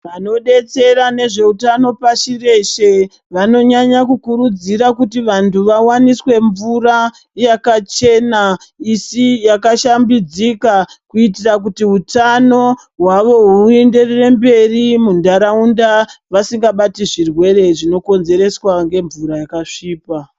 Vanodetsera ngezvehutano pashi reshe vanonyanya kukurudzira kuti vantu vawaniswe mvura yakachena isi, yakashambidzika kuitira kuti hutano hwavo huenderere mberi munharaunda. Vasingabati zvirwere zvinokonzereswa ngemvura yakasvipa.